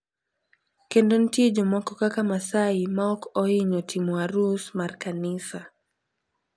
Kendo nitie jomoko kaka Maasai ma ok ohinyo timo arus mar kanisa.